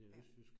Ja